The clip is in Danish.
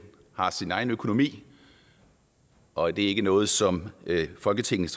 har sin egen økonomi og at det ikke er noget som folketinget